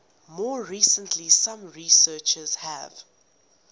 more recently some researchers have